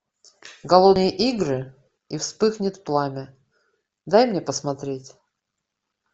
голодные игры и вспыхнет пламя дай мне посмотреть